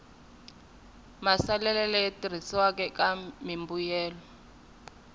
maasesele leyi tirhisiwaka eka mimbuyelo